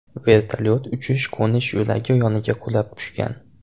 Vertolyot uchish-qo‘nish yo‘lagi yoniga qulab tushgan.